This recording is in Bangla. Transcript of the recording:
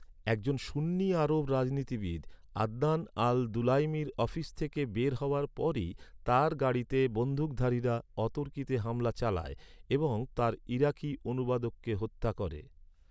একজন সুন্নি আরব রাজনীতিবিদ, আদনান আল দুলাইমির অফিস থেকে বের হওয়ার পরই তার গাড়িতে বন্দুকধারীরা অতর্কিত হামলা চালায় এবং তাঁর ইরাকি অনুবাদককে হত্যা করে।